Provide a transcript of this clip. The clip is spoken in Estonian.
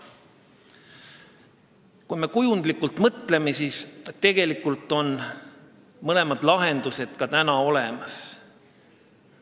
Kui me kujundlikult mõtleme, siis tegelikult on mõlemad lahendused ka täna olemas.